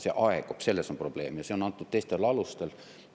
See aegub, selles on probleem, ja see on antud teistel alustel.